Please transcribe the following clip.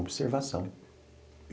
Observação.